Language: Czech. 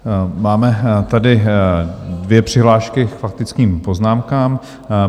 Máme tady dvě přihlášky k faktickým poznámkám.